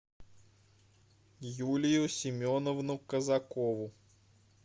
юлию семеновну казакову